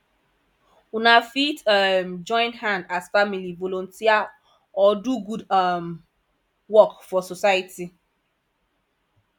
una fit um join hand as family volunteer or do good um work for society